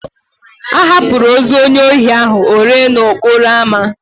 A hapụrụ ozu onye ohi ahụ o ree n'okporo amá.